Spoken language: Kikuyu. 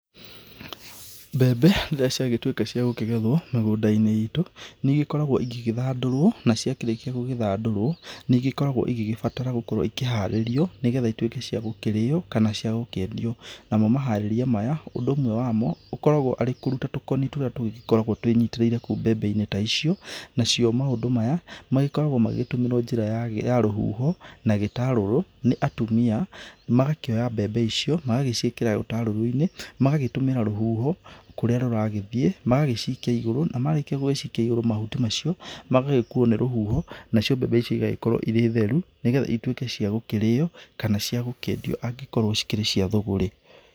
Mbembe rĩrĩa ciagĩtuĩka cia gũkĩgethwo mĩgũnda-inĩ itũ, nĩikoragwo igĩgĩthandũrwo na cikĩrikia gũgĩthandũrwo, nĩigĩkoragwo igĩgĩbatara gũkorwo ĩkĩharĩrio, nĩgetha ituĩke cia gũkĩrĩyo kana cia gũkĩendio, na mo maharĩrĩria maya, ũndũ ũmwe wa mo, ũkoragwo arĩ kũruta tũkoni tũria tũgĩkoragwo twĩnyitĩrĩire kũu mbembe-inĩ ta icio, nacio maũndũ maya magĩkoragwo magĩtũmirwo njĩra ya rũhuho na gĩtarũrũ nĩ atumia, magakĩoya mbembe icio, magaciĩkĩra gĩtarũrũ-inĩ, magatũmĩra rũhuho kũrĩa rũragĩthiĩ, magagĩcikia igũrũ, marĩkia gũgĩcikia ĩgũrũ mahuti macio magagĩkũwo nĩ rũhuho na cio mbembe icio igagĩkorwo irĩ theru nĩgetha ituĩke cia gũkĩrĩyo kana cia gũkĩendio angĩkorwo cikĩrĩ cia thũgũrĩ.